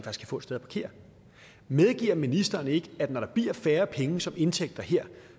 få et sted at parkere medgiver ministeren ikke at når der bliver færre penge som indtægter her